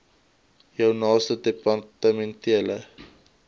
jou naaste departementele